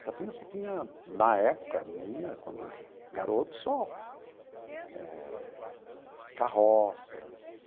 Itatinga só tinha, na época minha, quando garoto só eh, carroças,